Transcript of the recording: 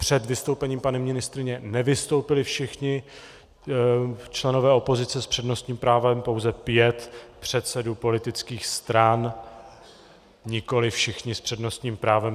Před vystoupením paní ministryně nevystoupili všichni členové opozice s přednostním právem, pouze pět předsedů politických stran, nikoliv všichni s přednostním právem.